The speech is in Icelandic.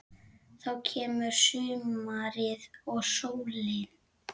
Þá kemur sumarið og sólin.